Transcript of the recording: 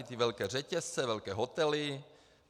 I ty velké řetězce, velké hotely.